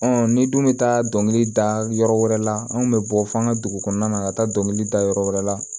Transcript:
ni dun bɛ taa dɔnkili da yɔrɔ wɛrɛ la anw bɛ bɔ fɔ an ka dugu kɔnɔna na ka taa dɔnkili da yɔrɔ wɛrɛ la